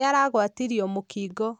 Nĩ aragwatirio mũkingo.